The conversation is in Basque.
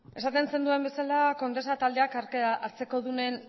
esaten zenuen bezala condesa taldeak hartzekodunen